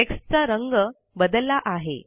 text चा रंग बदलला आहे